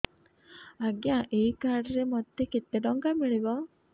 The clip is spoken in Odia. ଆଜ୍ଞା ଏଇ କାର୍ଡ ରେ ମୋତେ କେତେ ଟଙ୍କା ମିଳିବ